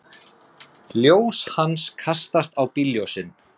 Ljós hans kastast á bílljósin.